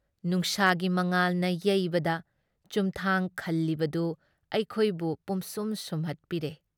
ꯅꯨꯡꯁꯥꯒꯤ ꯃꯉꯥꯜꯅ ꯌꯩꯕꯗ ꯆꯨꯝꯊꯥꯡ ꯈꯜꯂꯤꯕꯗꯨ ꯑꯩꯈꯣꯏꯕꯨ ꯄꯨꯝꯁꯨꯝ ꯁꯨꯝꯍꯠꯄꯤꯔꯦ ꯫